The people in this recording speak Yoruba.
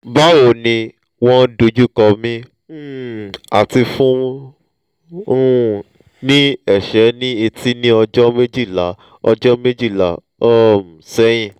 bawo ni won dojukomi um ati fun mi um ni ese ni ete ni ojo mejila ojo mejila um sehin